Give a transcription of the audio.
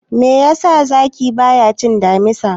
Me yasa zaki bayacin damisa?